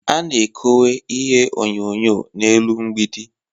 A na-ekowe ihe onyonyo n'elu mgbidi